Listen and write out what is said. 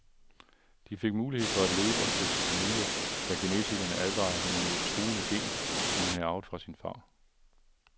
De fik mulighed for at leve og stifte familie, da genetikerne advarede hende mod et truende gen, som hun har arvet fra sin far.